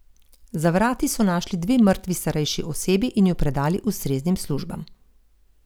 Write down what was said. Za vrati so našli dve mrtvi starejši osebi in ju predali ustreznim službam.